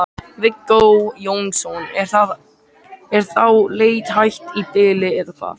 Viggó Jónsson: Er þá leit hætt í bili eða hvað?